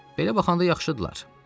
Belə baxanda yaxşıdırlar.